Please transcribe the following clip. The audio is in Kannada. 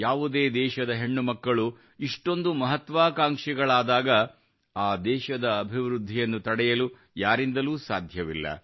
ಯಾವುದೇ ದೇಶದ ಹೆಣ್ಣು ಮಕ್ಕಳು ಇಷ್ಟೊಂದು ಮಹತ್ವಾಕಾಂಕ್ಷಿಗಳಾದಾಗ ಆ ದೇಶದ ಅಭಿವೃದ್ಧಿಯನ್ನು ತಡೆಯಲು ಯಾರಿಂದಲೂ ಸಾಧ್ಯವಿಲ್ಲ